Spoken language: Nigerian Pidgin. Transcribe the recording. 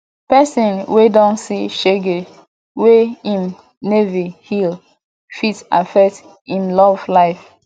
pesin wey don see shege wey im neva heal fit affect im love life